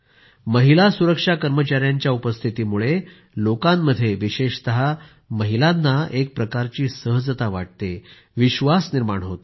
महिला सुरक्षा कर्मचाऱ्यांच्या उपस्थितीमुळे लोकांमध्ये विशेषतः महिलांना एकप्रकारची सहजता वाटते विश्वास निर्माण होतो